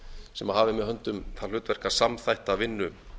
sem hafi með höndum það hlutverk að samþætta vinnu